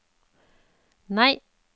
nei